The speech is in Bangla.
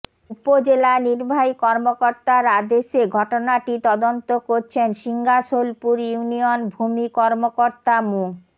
উপজেলা নির্বাহী কর্মকর্তার আদেশে ঘটনাটি তদন্ত করছেন শিঙ্গাসোলপুর ইউনিয়ন ভূমি কর্মকর্তা মো